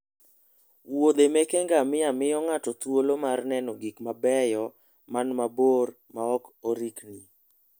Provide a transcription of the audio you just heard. wuodhe meke ngamia miyo ng'ato thuolo mar neno gik mabeyo man mabor maok orikni